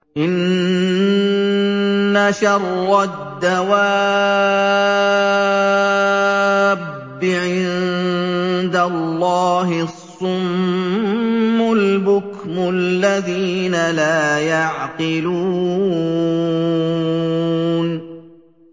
۞ إِنَّ شَرَّ الدَّوَابِّ عِندَ اللَّهِ الصُّمُّ الْبُكْمُ الَّذِينَ لَا يَعْقِلُونَ